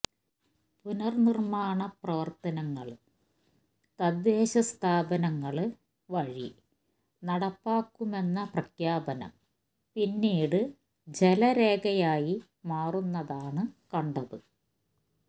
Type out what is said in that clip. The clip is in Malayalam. പുനര്നിര്മ്മാണ പ്രവര്ത്തനങ്ങള് തദ്ദേശ സ്ഥാപനങ്ങള് വഴി നടപ്പാക്കുമെന്ന പ്രഖ്യാപനം പിന്നീട് ജലരേഖയായി മാറുന്നതാണ് കണ്ടത്